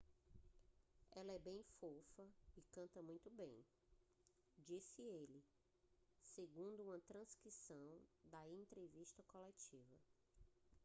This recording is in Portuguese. "ela é bem fofa e canta muito bem disse ele segundo uma transcrição da entrevista coletiva